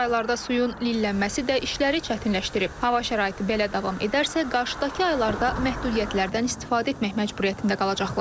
Çaylarda suyun lillənməsi də işləri çətinləşdirib, hava şəraiti belə davam edərsə, qarşıdakı aylarda məhdudiyyətlərdən istifadə etmək məcburiyyətində qalacaqlar.